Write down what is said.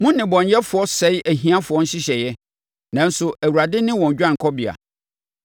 Mo nnebɔneyɛfoɔ sɛe ahiafoɔ nhyehyɛeɛ, nanso, Awurade ne wɔn dwanekɔbea.